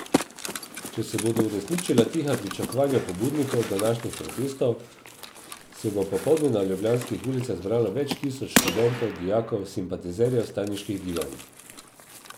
Če se bodo uresničila tiha pričakovanja pobudnikov današnjih protestov, se bo popoldne na ljubljanskih ulicah zbralo več tisoč študentov, dijakov, simpatizerjev vstajniških gibanj.